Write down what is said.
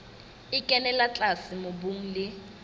e kenella tlase mobung le